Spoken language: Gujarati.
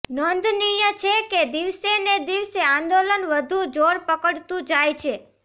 નોંધનીય છે કે દિવસેને દિવસે આંદોલન વધુ જોરપકડતુ જાય છે